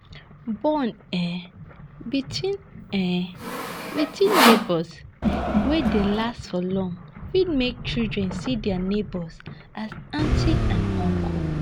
Bond um between um between neighbours wey dey last for long fit make children see their neighbours as aunties and uncles